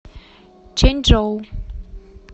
чэньчжоу